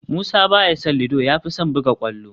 Musa ba ya son ludo, ya fi son buga kwallo